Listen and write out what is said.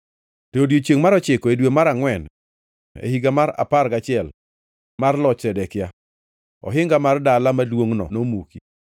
To odiechiengʼ mar ochiko e dwe mar angʼwen e higa mar apar gachiel mar loch Zedekia, ohinga mar dala maduongʼno nomuki.